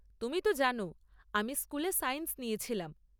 তুমি তো জানো আমি স্কুলে সায়েন্স নিয়েছিলাম?